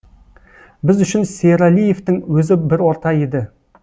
біз үшін сералиевтің өзі бір орта еді